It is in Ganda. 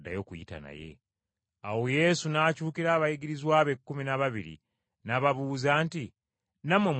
Awo Yesu n’akyukira abayigirizwa be ekkumi n’ababiri n’ababuuza nti, “Nammwe mwagala kugenda?”